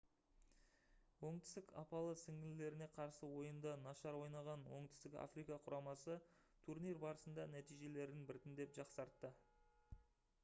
оңтүстік апалы-сіңлілеріне қарсы ойында нашар ойнаған оңтүстік африка құрамасы турнир барысында нәтижелерін біртіндеп жақсартты